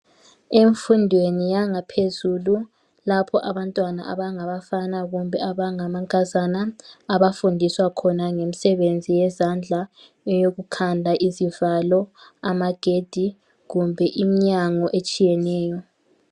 Emfundweni yangaphezulu lapho abantwana abangabafana kumbe abangamankazana abafundiswa khona ngemisebenzi yezandla eyokukhanda izivalo amagedi kumbe iminyango etshiyeneyo.